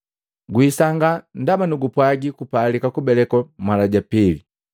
Guisangaa ndaba nugupwaagi kupalika kubelekwa mala ja pili.